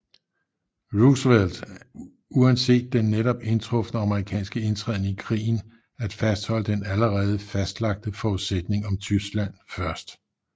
Roosevelt uanset den netop indtrufne amerikanske indtræden i krigen at fastholde den allerede fastlagte forudsætning om Tyskland først